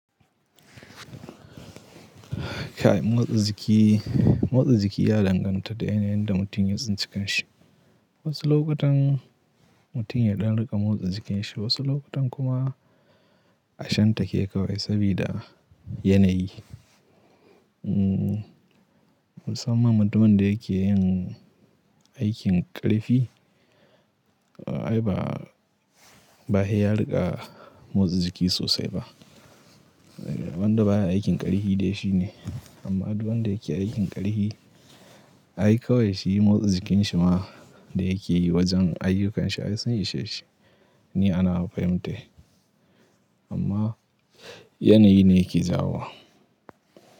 Kai motsi jiki, motsi jiki ya danganta da yanayin da mutum ya tsinci kanshi. Wasu lokutan mutum ya ɗan riƙa motsi jikin shi, wasu lokutan kuma a shanta ke kawai sabida yanayi. Musamman mutumin da yake yin aikin ƙarfi ai ba, bahe ya riƙa motsa jiki sosai ba. Wanda ba aikin ƙarfi dai shi ne, amma duk wanda yake aikin ƙarfi ai kawai shi motsa jikin shi ma da yake yi wajen ayyukanshi ai sun isheshi ni anawa fahimtai. Amma yanayi ne ke jawowa.